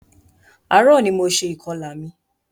Ààrò ní mo ṣe ìkọlà mi.